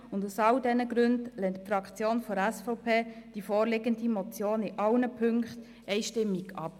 Aus all diesen Gründen lehnt die Fraktion der SVP die vorliegende Motion in allen Punkten einstimmig ab.